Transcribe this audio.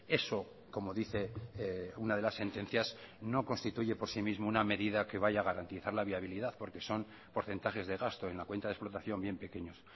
eso como dice una de las sentencias no constituye por sí mismo una medida que vaya a garantizar la viabilidad porque son porcentajes de gasto en la cuenta de explotación bien pequeños